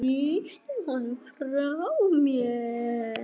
Ýti honum frá mér.